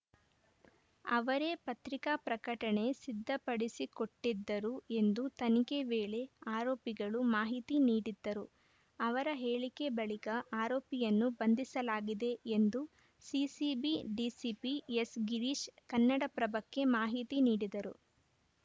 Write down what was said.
ಅವರೇ ಪತ್ರಿಕಾ ಪ್ರಕಟಣೆ ಸಿದ್ಧಪಡಿಸಿಕೊಟ್ಟಿದ್ದರು ಎಂದು ತನಿಖೆ ವೇಳೆ ಆರೋಪಿಗಳು ಮಾಹಿತಿ ನೀಡಿದ್ದರು ಅವರ ಹೇಳಿಕೆ ಬಳಿಕ ಆರೋಪಿಯನ್ನು ಬಂಧಿಸಲಾಗಿದೆ ಎಂದು ಸಿಸಿಬಿ ಡಿಸಿಪಿ ಎಸ್‌ಗಿರೀಶ್‌ ಕನ್ನಡಪ್ರಭಕ್ಕೆ ಮಾಹಿತಿ ನೀಡಿದರು